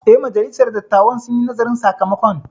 Eh, majalisar dattawan sun yi nazarin sakamakon